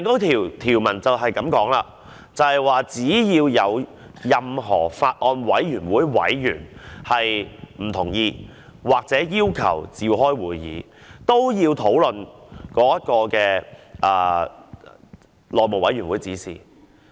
條文清楚寫明，只要有任何法案委員會委員不同意，或要求召開會議，都須討論這項內務委員會的指引。